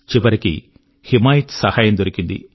చివరికి హిమాయత్ సహాయం దొరికింది